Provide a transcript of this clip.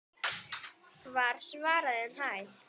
var svarað um hæl.